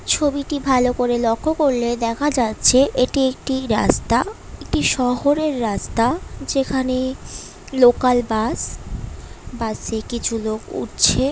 ছবিটি ভালো করে লক্ষ্য করলে দেখা যাচ্ছে এটি একটি রাস্তা একটি শহরের রাস্তা যেখানে লোকাল বাস বাসে কিছু লোক উঠছে ।